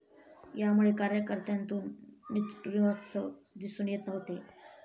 यामुळे कार्यकर्त्यांतून निरुत्साह दिसून येत होते.